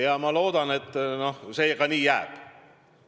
Ja ma loodan, et see nii ka jääb.